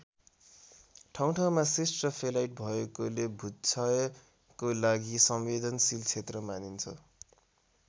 ठाउँठाउँमा शिष्ट र फेलाइट भएकोले भूक्षयको लागि संवेदनशील क्षेत्र मानिन्छ।